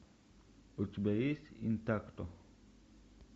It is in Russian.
у тебя есть интакто